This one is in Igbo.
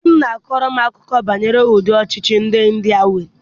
Di m na-akọrọ m akụkọ banyere ụdị ọchịchị ndị India nwere.